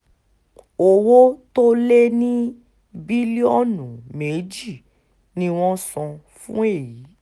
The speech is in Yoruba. owó tó lé ní bílíọ̀nù méjì ni wọ́n san fún èyí